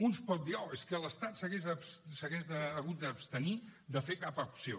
un pot dir oh és que l’estat s’hagués hagut d’abstenir de fer cap acció